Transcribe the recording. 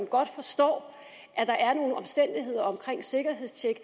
godt forstår at der er nogle omstændigheder ved sikkerhedstjek